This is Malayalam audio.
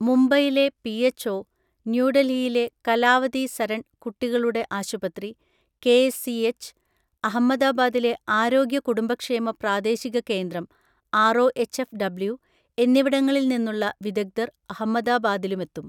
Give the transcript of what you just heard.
മുംബൈയിലെ പിഎച്ച്ഒ, ന്യൂഡൽഹിയിലെ കലാവതി സരൺ കുട്ടികളുടെ ആശുപത്രി കെഎസ്സിഎച്ച്, അഹമ്മദാബാദിലെ ആരോഗ്യ കുടുംബക്ഷേമ പ്രാദേശിക കേന്ദ്രം ആർഒഎച്ച്എഫ്ഡബ്ല്യു എന്നിവിടങ്ങളിൽനിന്നുള്ള വിദഗ്ധർ അഹമ്മദാബാദിലുമെത്തും.